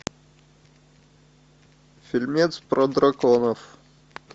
фильмец про драконов